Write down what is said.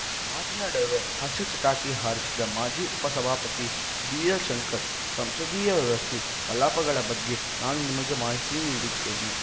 ಮಾತಿನ ನಡುವೆ ಹಾಸ್ಯ ಚಟಾಕಿ ಹಾರಿಸಿದ ಮಾಜಿ ಉಪಸಭಾಪತಿ ಬಿಎಲ್‌ ಶಂಕರ್‌ ಸಂಸದೀಯ ವ್ಯವಸ್ಥೆ ಕಲಾಪಗಳ ಬಗ್ಗೆ ನಾನು ನಿಮಗೆ ಮಾಹಿತಿ ನೀಡುತ್ತೇನೆ